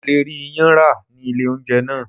Mo le rí iyán rà ní ilé oúnjẹ náà.